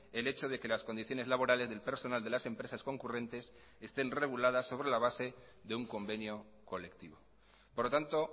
el hecho de que las condiciones laborales del personal de las empresas concurrentes estén reguladas sobre la base de un convenio colectivo por lo tanto